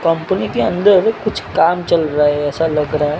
company के अंदर कुछ काम चल रहा है ऐसा लग रहा--